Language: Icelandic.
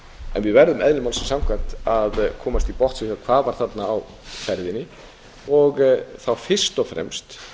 en við verðum eðli málsins samkvæmt að komast til botns í því hvað var þarna á ferðinni fyrst og fremst